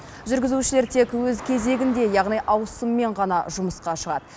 жүргізушілер тек өз кезегінде яғни ауысыммен ғана жұмысқа шығады